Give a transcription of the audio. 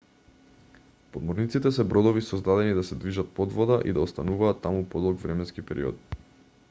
подморниците се бродови создадени да се движат под вода и да остануваат таму подолг временски период